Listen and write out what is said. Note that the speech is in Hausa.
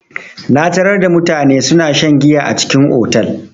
Na tarar da mutane suna shan giya a cikin otal.